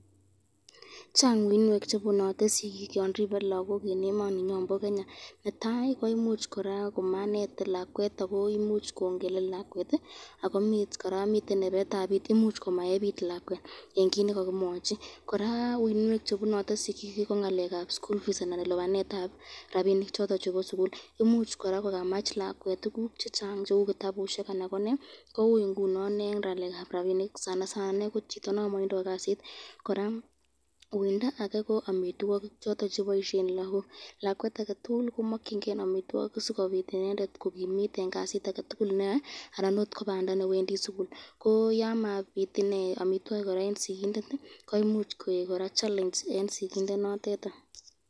Chang uinwek chebune sikik yon ribee lagok eng emoninyon bo Kenya netai komanet lakwet koimuch kongelel lakwet imuch komaebit lakwet eng kit nekakimwachi koraa uinwek chebune sikik koraa ko lipanetab school fees anan ko ko rabinik choton chebo sukul imuch kokamach lakwet tukuk chechang cheu kitabusyek koui eng ngalekab rabinik, eng chito non matinye kasit uindo koraa eng amitwokik choton cheboisyen lagok, lakwet ake tukul komakyinke amitwokik sikobit inendet kokimit eng kasit aje tukul neyoe anan ko Banda newendi sukul yemabit amitwokik eng skindet koeku challenge.